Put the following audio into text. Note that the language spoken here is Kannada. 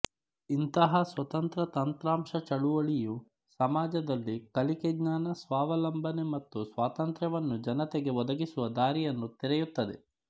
ಇಂಥಹ ಸ್ವತಂತ್ರ ತಂತ್ರಾಂಶ ಚಳುವಳಿಯು ಸಮಾಜದಲ್ಲಿ ಕಲಿಕೆ ಜ್ಞಾನ ಸ್ವಾವಲಂಬನೆ ಮತ್ತು ಸ್ವಾತಂತ್ರ್ಯವನ್ನು ಜನತೆಗೆ ಒದಗಿಸುವ ದಾರಿಯನ್ನು ತೆರೆಯುತ್ತದೆ